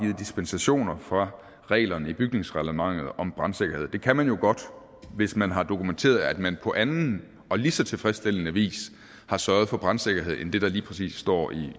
givet dispensationer fra reglerne i bygningsreglementet om brandsikkerhed det kan man jo godt hvis man har dokumenteret at man på anden og lige så tilfredsstillende vis har sørget for brandsikkerhed end det der lige præcis står